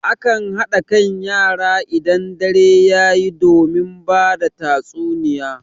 A kan haɗa kan yara idan dare yayi domin bada tatsuniya.